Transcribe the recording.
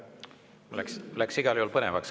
Läks igal juhul põnevaks.